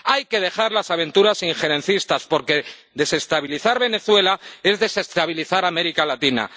Hay que dejar las aventuras injerencistas, porque desestabilizar Venezuela es desestabilizar América Latina.